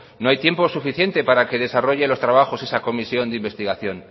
no hay tiempo suficiente para que desarrolle los trabajos esa comisión de investigación